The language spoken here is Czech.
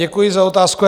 Děkuji za otázku.